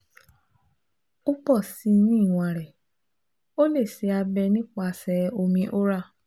o pọ si ni iwọn rẹ o le ṣe abẹ nipasẹ omi Oral